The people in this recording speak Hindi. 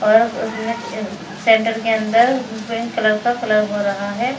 सेंटर के अंदर पिंक कलर का कलर हो रहा है।